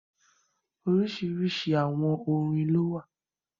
oríṣiríṣi àwọn orin ló wà.